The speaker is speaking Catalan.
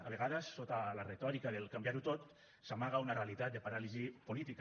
a vegades sota la retòrica del canviar ho tot s’amaga una realitat de paràlisi política